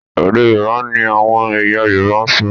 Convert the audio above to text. Èdè Yorùbá ni àwọn ẹ̀yà Yorùbá ń ṣọ